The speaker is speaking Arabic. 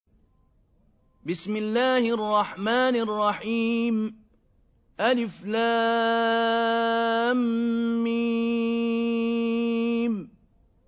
الم